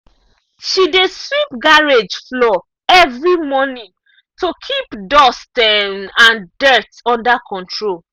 she dey sweep garage floor every month to keep dust um and dirt under control.